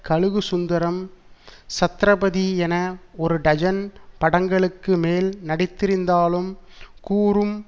கழுகு சுந்தரம் சத்ரபதி என ஒரு டஜன் படங்களுக்கு மேல் நடித்திருந்தாலும் கூறும்